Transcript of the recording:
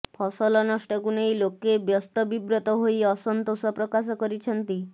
ଫସଲ ନଷ୍ଟକୁ ନେଇ ଲୋକେ ବ୍ୟସ୍ତବିବ୍ରତ ହୋଇ ଅସନ୍ତୋଷ ପ୍ରକାଶ କରିଛନ୍ତି